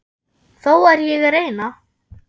Þó er ég að reyna!